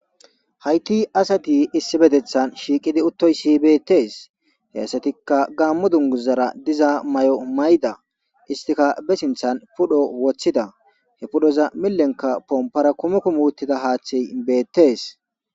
Hayti asati issippetethan shiiqidi uttoyssi bettes. He asatikka gaammo dunguzara diza may'o mayda istika be sinthan pudho woththida he pudhoza millenka pompara kumeku muuttida haaththey beettes.